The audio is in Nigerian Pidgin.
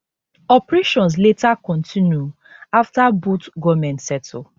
operations later kontinu afta both goment settle